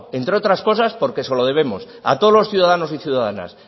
entre otras cosas porque se lo debemos a todos los ciudadanos y ciudadanas